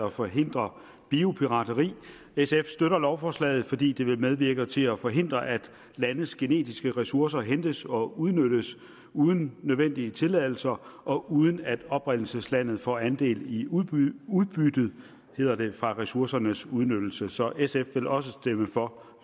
at forhindre biopirateri sf støtter lovforslaget fordi det vil medvirke til at forhindre at landes genetiske ressourcer hentes og udnyttes uden nødvendige tilladelser og uden at oprindelseslandet får andel i udbyttet udbyttet hedder det fra ressourcernes udnyttelse så sf vil også stemme for